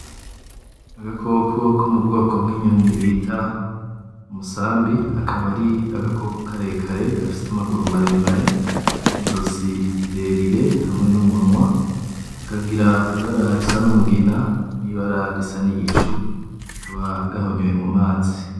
Agakoko ko mu bwoko bw'inyoni bita umusambi akaba ari agakoko karekare gafise amaguru maremare, n'izosi rirerire hamwe n'umunwa kakagira ibara risa n'umugina, n'ibara risa n'igicu kakaba gahonyoye mu mazi.